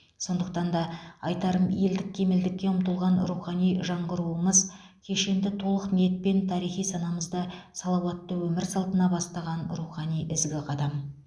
сондықтан да айтарым елдік кемелдікке ұмтылған рухани жаңғыруымыз кешенді толық ниетпен тарихи санамызды салауатты өмір салтына бастаған рухани ізгі қадам